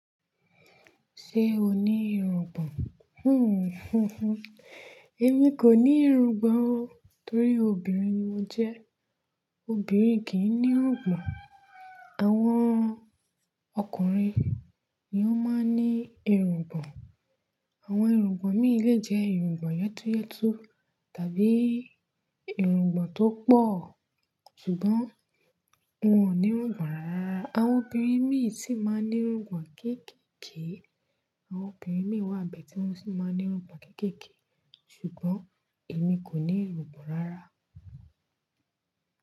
Ṣé o ní irungbọ̀n? Hmmm, Èmi kò ní irungbọ̀n o. Torí obìnrin ni mo jẹ́. Obìnrin kì í ní irungbọ̀n. Àwọn ọkùnrin ni ó máa ń ní irungbọ̀n. Àwọn irungbọ̀n míì lè jẹ́ irungbọ̀n yétúyétú tàbí irungbọ̀n tó pọ̀. Ṣùgbọ́n wọn ò ní irungbọ̀n rárá. Àwọn obìnrin mí ì tí máa ń ní irungbọ̀n kéékèèké. Àwọn obìnrin mí wà bẹ́ẹ̀ tí wọ́n sì máa ń ní irungbọ̀n kéékèèké. Ṣùgbọ́n èmi kò ní irungbọ̀n rárá.